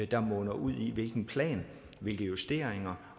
der munder ud i hvilken plan og hvilke justeringer